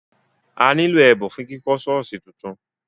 A nílò ẹ̀bùn fún kíkọ́ ṣọ́ọ̀ṣì tuntun.